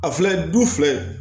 A filɛ du filɛ